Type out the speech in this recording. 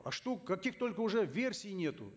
а что каких только уже версий нету